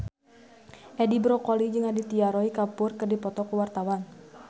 Edi Brokoli jeung Aditya Roy Kapoor keur dipoto ku wartawan